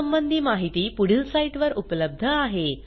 यासंबंधी माहिती पुढील साईटवर उपलब्ध आहे